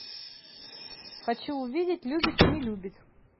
хочу увидеть любит не любит